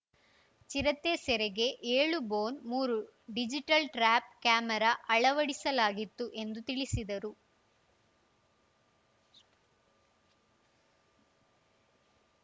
ಚಿರತೆ ಸೆರೆಗೆ ಏಳು ಬೋನ್‌ ಮೂರು ಡಿಜಿಟಲ್‌ ಟ್ರ್ಯಾಪ್‌ ಕ್ಯಾಮೆರಾ ಅಳವಡಿಸಲಾಗಿತ್ತು ಎಂದು ತಿಳಿಸಿದರು